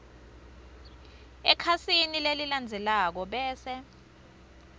ekhasini lelilandzelako bese